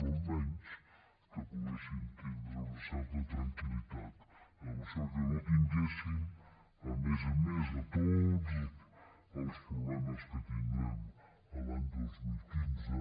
però almenys que poguéssim tindre una certa tranquil·litat en això i que no tinguéssim a més a més de tots els problemes que tindrem l’any dos mil quinze